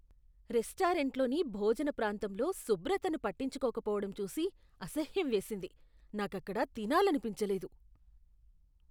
రెస్టారెంట్లోని భోజన ప్రాంతంలో శుభ్రతను పట్టించుకోకపోవడం చూసి అసహ్యం వేసింది, నాకక్కడ తినాలనిపించలేదు.